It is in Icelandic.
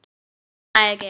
Ég næ ekki.